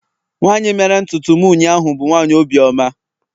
nwanyi mere ntutu m ụnyahụ bu nwanyi obi oma